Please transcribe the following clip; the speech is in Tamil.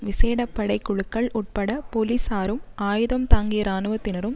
விசேடபடை குழுக்கள் உட்பட போலிசாரும் ஆயுதம் தாங்கிய இராணுவத்தினரும்